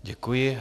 Děkuji.